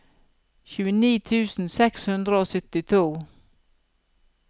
tjueni tusen seks hundre og syttito